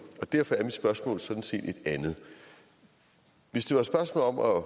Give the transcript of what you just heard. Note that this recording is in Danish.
og derfor er mit spørgsmål sådan set et andet hvis det var et spørgsmål om at